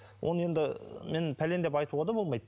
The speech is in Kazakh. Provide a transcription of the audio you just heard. оны енді мен пәлен деп айтуға да болмайды